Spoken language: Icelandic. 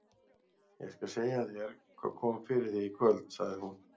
Ég skal segja þér hvað kom fyrir þig í kvöld, sagði hún.